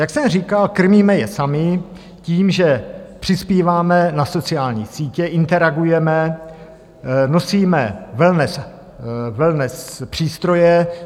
Jak jsem říkal, krmíme je sami tím, že přispíváme na sociální sítě, interagujeme, nosíme wellness přístroje.